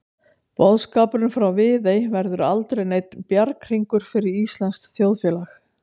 Boðskapurinn frá Viðey verður aldrei neinn bjarghringur fyrir íslenskt þjóðfélag.